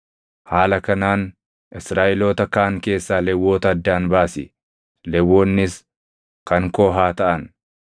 Haala kanaan Israaʼeloota kaan keessaa Lewwota addaan baasi; Lewwonnis kan koo haa taʼan.